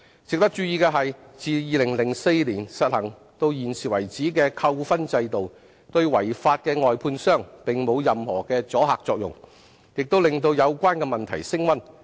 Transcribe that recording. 值得注意的是，自2004年實行至今的扣分制度，對違法的外判商並沒有任何阻嚇作用，亦令有關問題升溫。